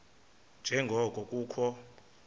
nje ngoko kukho